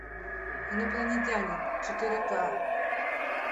инопланетянин четыре ка